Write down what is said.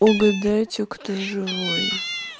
угадайте кто живой